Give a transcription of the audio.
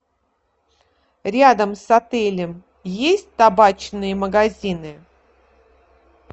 рядом с отелем есть табачные магазины